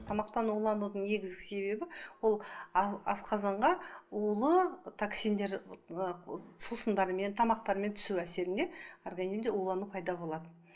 тамақтан уланудың негізгі себебі ол асқазанға улы токсиндер ыыы сусындармен тамақтармен түсу әсерінде организмде улану пайда болады